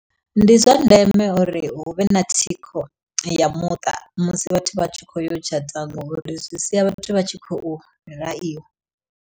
Ndi zwa ndeme uri hu vhe na thikho ya muṱa musi vhathu vhatshi kho yo tshata ngori zwi sia vhathu vha tshi khou